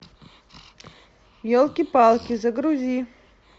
елки палки загрузи